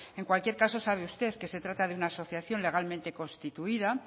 en cualquier caso sabe usted que se trata de una asociación legalmente constituida